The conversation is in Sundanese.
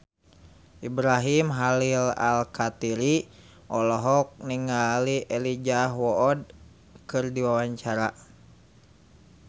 Ibrahim Khalil Alkatiri olohok ningali Elijah Wood keur diwawancara